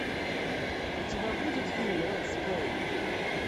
у тебя будет фильм летсплей